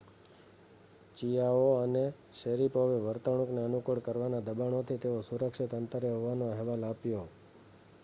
ચિઆઓ અને શૅરિપોવે વર્તણૂકને અનુકૂળ કરવાના દબાણોથી તેઓ સુરક્ષિત અંતરે હોવાનો અહેવાલ આપ્યો